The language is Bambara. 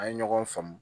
An ye ɲɔgɔn faamu